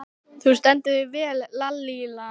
Þú stendur þig vel, Lalíla!